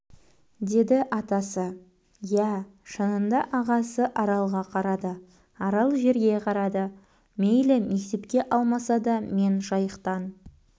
деді атасы иә шынында ағасы аралға қарады арал жерге қарады мейлі мектепке алмаса да мен жайықтан